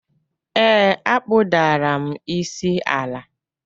Ee, akpụdara m isi ala